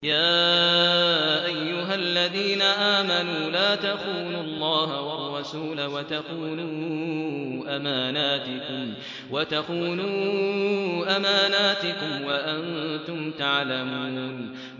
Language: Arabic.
يَا أَيُّهَا الَّذِينَ آمَنُوا لَا تَخُونُوا اللَّهَ وَالرَّسُولَ وَتَخُونُوا أَمَانَاتِكُمْ وَأَنتُمْ تَعْلَمُونَ